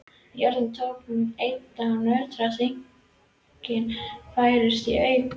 Jörðin tók enn að nötra og dynkirnir færðust í aukana.